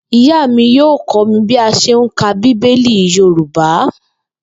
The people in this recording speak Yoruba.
Ìyá mi yóò kó̩ mi bí a s̩e ń ka bíbélì Yorùbá